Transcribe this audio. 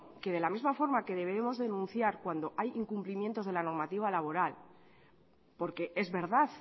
que de la misma forma que deberíamos denunciar cuando hay incumplimientos de la normativa laboral porque es verdad